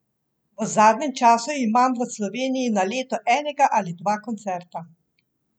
V zadnjem času imam v Sloveniji na leto enega ali dva koncerta.